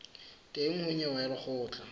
teng ho nyewe ya lekgotla